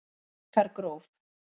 Bleikargróf